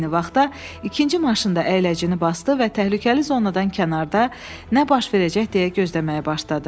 Eyni vaxtda ikinci maşın da əyləcini basdı və təhlükəli zonadan kənarda nə baş verəcək deyə gözləməyə başladı.